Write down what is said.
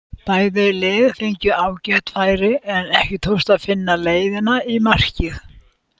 Bæði lið fengu ágæt færi en ekki tókst að finna leiðina í markið.